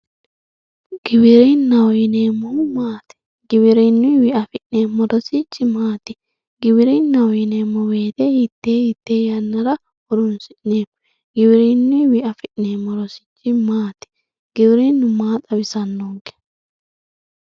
giwirinnaho yineemmohu maati giwirinnuyiiwi afi'neemmo rosichi maati giwirinnaho yineemmo woyiite hiittee hiittee yannara horoonsi'neemmo giwirinnuyiiwi afi'neemmo rosichi maati giwirinnu maa xawisannonke.